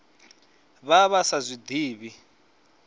vha vha sa zwi ḓivhi